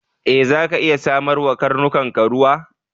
E, zaka iya samar wa karnukanka ruwa.